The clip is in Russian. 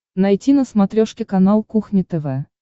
найти на смотрешке канал кухня тв